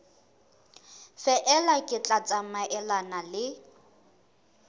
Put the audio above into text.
feela le tla tsamaelana le